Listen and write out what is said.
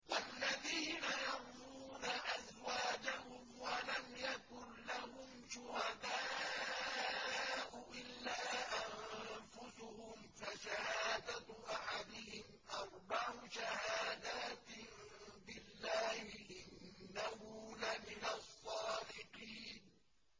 وَالَّذِينَ يَرْمُونَ أَزْوَاجَهُمْ وَلَمْ يَكُن لَّهُمْ شُهَدَاءُ إِلَّا أَنفُسُهُمْ فَشَهَادَةُ أَحَدِهِمْ أَرْبَعُ شَهَادَاتٍ بِاللَّهِ ۙ إِنَّهُ لَمِنَ الصَّادِقِينَ